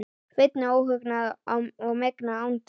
Sveini óhugnað og megna andúð.